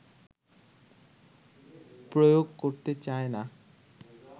প্রয়োগ করতে চায়না